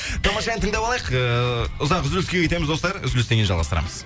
тамаша ән тыңдап алайық ыыы ұзақ үзіліске кетеміз достар үзілістен кейін жалғастырамыз